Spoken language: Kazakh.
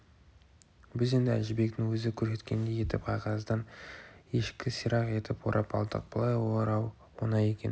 біз енді әжібектің өзі көрсеткендей етіп қағаздан ешкі сирақ етіп орап алдық бұлай орау оңай екен